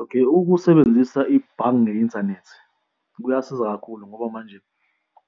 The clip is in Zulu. Okay, ukusebenzisa ibhange nge-inthanethi kuyasiza kakhulu ngoba manje